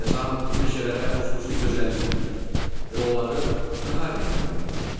Xəzan bu meşələrə xüsusi gözəllik verir və onları daha rəngarəng eləyir.